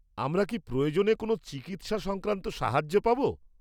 আমরা কি প্রয়োজনে কোনও চিকিৎসা-সংক্রান্ত সাহায্য পাব?